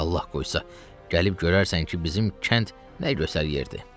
Allah qoysa, gəlib görərsən ki, bizim kənd nə gözəl yerdir.